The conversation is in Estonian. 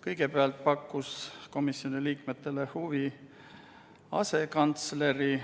Kõigepealt pakkus komisjoni liikmetele huvi asekantsleri